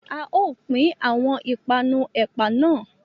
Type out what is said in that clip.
A o pin awọn ipanu ẹpa nà